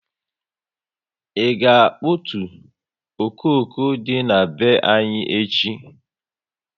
I ga akputu okooko dị na be anyị echi